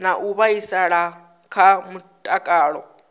na u vhaisala kha mutakalo